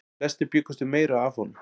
Flestir bjuggust við meiru af honum.